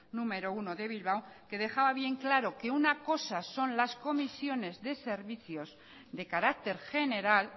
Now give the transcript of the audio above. número uno de bilbao que dejaba bien claro que una cosa son las comisiones de servicios de carácter general